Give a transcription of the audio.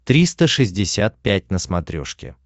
триста шестьдесят пять на смотрешке